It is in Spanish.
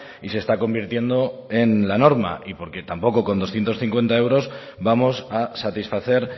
y se está convirtiendo en la norma y porque tampoco con doscientos cincuenta euros vamos a satisfacer